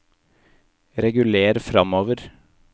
reguler framover